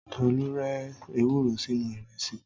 Tòlu rẹ èwúrò sìnú irẹsi